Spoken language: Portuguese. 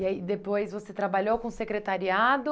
E aí depois você trabalhou com secretariado?